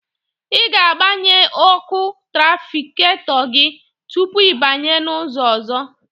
Ị ga-agbanye ọkụ trafiketọ gị tupu ịbanye n'ụzọ ọzọ.